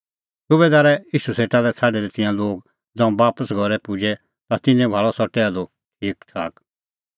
सुबैदारै ईशू सेटा लै छ़ाडै दै तिंयां लोग ज़ांऊं बापस घरै पुजै ता तिन्नैं भाल़अ सह टैहलू ठीकठाक